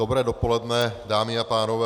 Dobré dopoledne, dámy a pánové.